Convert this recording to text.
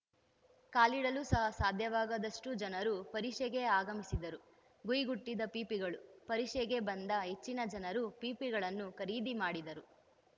ಕಾಲಿಡಲು ಸಹ ಸಾಧ್ಯವಾಗದಷ್ಟುಜನರು ಪರಿಷೆಗೆ ಆಗಮಿಸಿದ್ದರು ಗುಂಯ್‌ ಗುಟ್ಟಿದ ಪೀಪಿಗಳು ಪರಿಷೆಗೆ ಬಂದ ಹೆಚ್ಚನ ಜನರು ಪೀಪಿಗಳನ್ನು ಖರೀದಿ ಮಾಡಿದರು